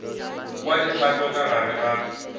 kwa dikgato ka gare ga